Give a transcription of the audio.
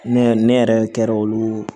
Ne ne yɛrɛ kɛra olu